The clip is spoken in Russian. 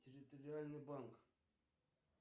территориальный банк